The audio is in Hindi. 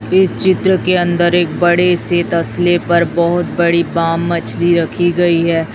इस चित्र के अंदर एक बड़े से तस्ले पर बहुत बड़ी बाम मछली रखी गई है।